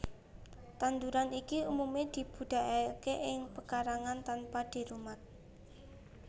Tanduran iki umumé dibudidayakaké ing pekarangan tanpa dirumat